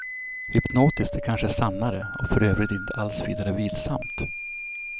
Hypnotiskt är kanske sannare, och för övrigt inte alls vidare vilsamt.